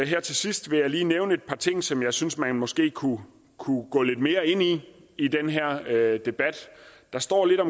her til sidst vil jeg lige nævne et par ting som jeg synes man måske kunne kunne gå lidt mere ind i i den her debat der står lidt